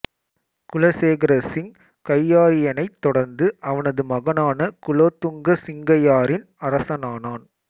குலசேகர சிங்கையாரியனைத் தொடர்ந்து அவனது மகனான குலோத்துங்க சிங்கையாரியன் அரசனானான்